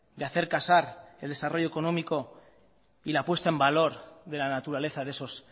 de hacer casar el desarrollo económico y la puesta en valor de la naturaleza de esos